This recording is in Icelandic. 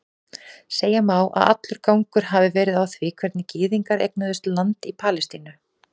Segja má að allur gangur hafi verið á því hvernig gyðingar eignuðust land í Palestínu.